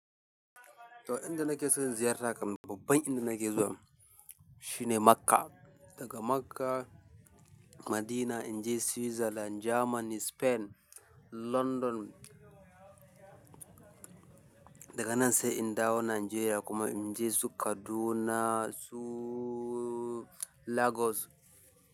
To inda nake so in ziyarta kam, babban inda nake zuwa shi ne Makkah. Daga Makkah, Madinah, in je Switzerland, Germany, Spain, London. Daga nan sai in dawo Najeriya kuma in je su Kaduna, su Lagos.